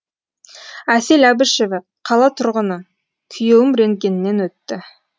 әсел әбішева қала тұрғыны күйеуім рентгеннен өтті